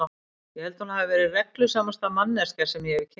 Ég held að hún hafi verið reglusamasta manneskjan sem ég hefi kynnst.